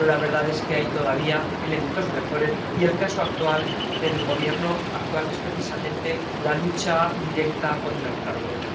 pero la verdad es que hay todavía elementos de mejora y el objetivo del Gobierno actual es precisamente la lucha directa contra el fraude.